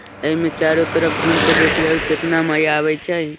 इमें चारों तरफ घूम कर देखिये कितना मज़ा आवई छे।